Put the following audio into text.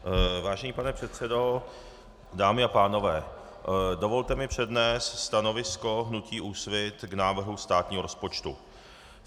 Vážený pane předsedo, dámy a pánové, dovolte mi přednést stanovisko hnutí Úsvit k návrhu státního rozpočtu.